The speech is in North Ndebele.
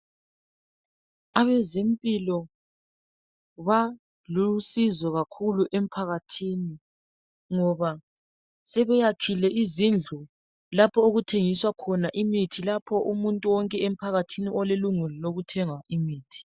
Abezempilo balusizo kakhulu emphakathini, ngoba sebeyakhile izindlu lapho okuthengiswa khona imithi lapho umuntu wonke emphakathini olelungelo lokuthenga imithi.